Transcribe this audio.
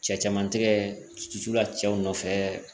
Cɛ caman tɛgɛ susu la cɛw nɔfɛ